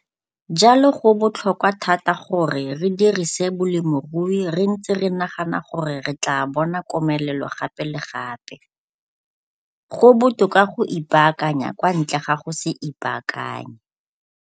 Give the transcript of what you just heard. Jalo go botlhokwa thata gore re dirise bolemirui re ntse re nagana gore re tlaa bona komelelo gape le gape. Go botoka go ipaakanya kwa ntle ga go se ipaakanye.